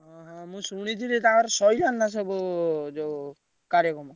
ହଁ ହଁ ମୁଁ ଶୁଣିଥିଲି ତାଙ୍କର ସଇଲାଣି ନା ସବୁ ଯୋଉ କାର୍ଯ୍ୟକର୍ମ?